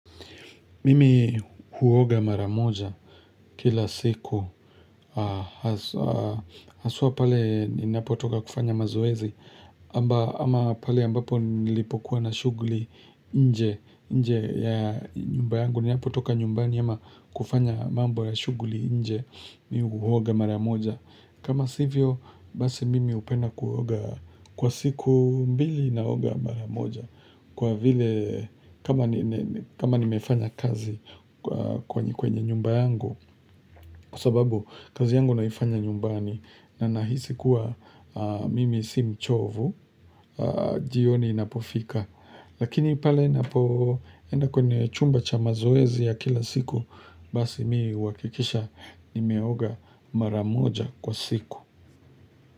Mimi huoga maramoja kila siku Haswa pale ninapotoka kufanya mazoezi ama pale ambapo nilipokuwa na shughuli nje nje ya nyumba yangu ninapotoka nyumbani ama kufanya mambo ya shughuli nje mi huoga maramoja kama sivyo, basi mimi hupenda kuoga Kwa siku mbili naoga maramoja Kwa vile kama nimefanya kazi kwenye kwenye nyumba yangu kwa sababu kazi yangu naifanya nyumbani na nahisi kuwa mimi si mchovu jioni inapofika lakini pale enda kwenye chumba cha mazoezi ya kila siku basi mii uhakikisha ni meoga maramoja kwa siku.